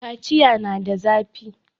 kaciya na da zafi